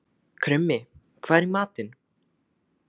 Krummi, hvað er í matinn?